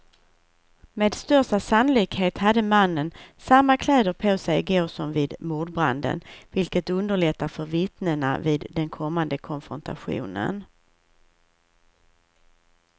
Med största sannolikhet hade mannen samma kläder på sig i går som vid mordbranden, vilket underlättar för vittnena vid den kommande konfrontationen.